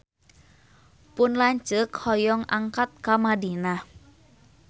Pun lanceuk hoyong angkat ka Madinah